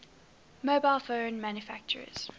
mobile phone manufacturers